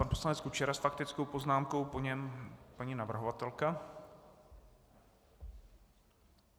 Pan poslanec Kučera s faktickou poznámkou, po něm paní navrhovatelka.